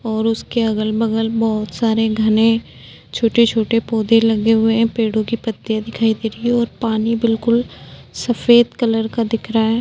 उसके अगल बगल बहुत सारे घने छोटे-छोटे पौधे लगे हुए हैं। पेड़ों की पत्तियां दिखाई दे रही है और पानी बिल्कुल सफेद कलर का दिख रहा है।